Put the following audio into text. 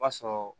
O b'a sɔrɔ